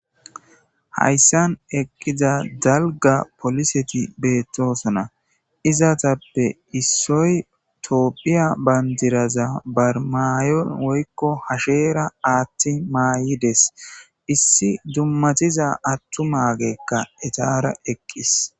Hayssan eqidi diza dalgga pooliseti beetosona isstape issoy tophiya bandira hashera athi mayidees. issi atumazi iyara eqides